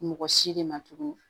Mɔgɔ si de ma tugun